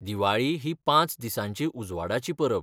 दिवाळी ही पांच दिसांची उजवाडाची परब.